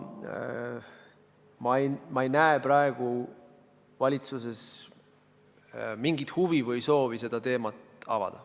Ma ei näe praegu ka valitsuses mingit huvi või soovi seda teemat avada.